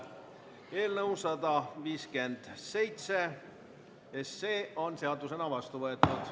Eelnõu 157 on seadusena vastu võetud.